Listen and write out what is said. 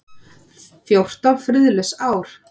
Fjórtán friðlaus ár.